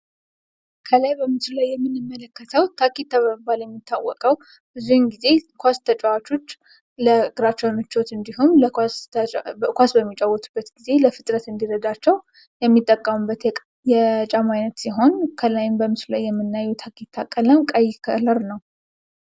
ከላይ በምስሉ ላይ የምንመለከተው ታኬታ በመባል የሚታወቀው ብዙውን ጊዜ ኳስ ተጫዋቾች ለእግራቸው ምቾት እንዲሆን እንዲሁም ኳስ በሚጫወቱበት ጊዜ ለፍጥነት እንዲረዳቸው የሚጠቀሙበት የጫማ አይነት ሲሆን ከላይም በምስሉ ላይ የምናዬው የታኬታ ቀለም ቀይ ከለር ነው።